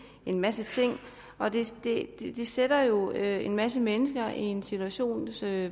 en masse ting det sætter jo en masse mennesker i en situation